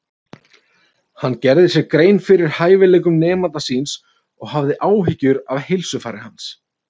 Hann gerði sér grein fyrir hæfileikum nemanda síns og hafði áhyggjur af heilsufari hans.